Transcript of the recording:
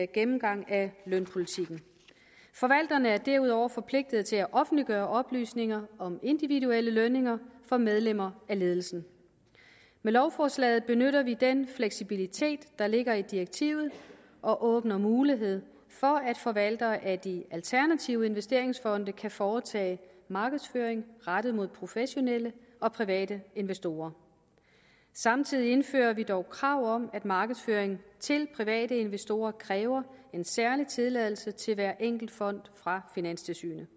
gennemgang af lønpolitikken forvalterne er derudover forpligtet til at offentliggøre oplysninger om individuelle lønninger for medlemmer af ledelsen med lovforslaget benytter vi den fleksibilitet der ligger i direktivet og åbner mulighed for at forvaltere af de alternative investeringsfonde kan foretage markedsføring rettet mod professionelle og private investorer samtidig indfører vi dog krav om at markedsføring til private investorer kræver en særlig tilladelse til hver enkelt fond fra finanstilsynet